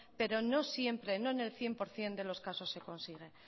pero no siempre no en el cien por ciento en de los casos se consigue